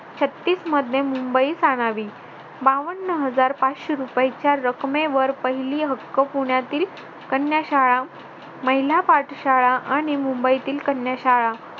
छत्तीस मध्ये मुंबईत बावन्न हजार पाचशे रुपयेच्या रकमेवर पहिली हक्क पुण्यातील कन्या शाळा महिला पाठशाळा आणि मुंबईतील कन्या शाळा